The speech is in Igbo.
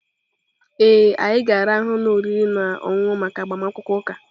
Ee.anyị ga-arahụ n'ụlọ oriri na ọṅụṅụ maka agbamakwụkwọ ụka